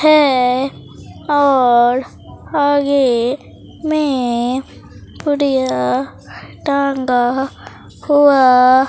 है और आगे में पुड़िया टांगा हुआ।